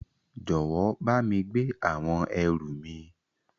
Jọwọ bámi gbé àwọn ẹrù mi.